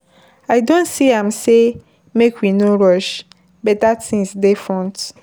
I don see am sey make we no rush, beta tins dey front.